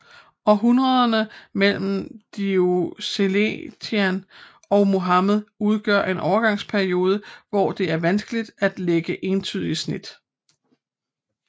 Århundrederne mellen Diocletian og Muhammed udgør en overgangsperiode hvor det er vanskeligt at lægge entydige snit